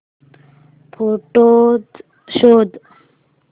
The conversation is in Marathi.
फोटोझ शोध